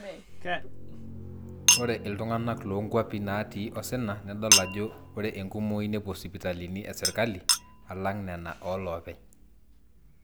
ore iltung'anak loonkuapi naatii osina nidol ajo ore enkumoi nepuo sipitalini esirkali alang nena ooloopeny